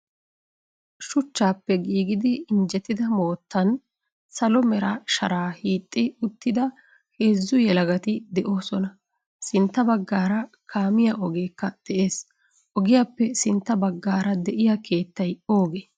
Shuuchchappe giigidi injjettida moottan salo Mera sharaa hiixidi uttida heezzu yeelagati de'oosona. Sintta baggaara kaamiya oogekka de'ees. Ogiyaappe sintta baggaara de'iya keettayi ooge?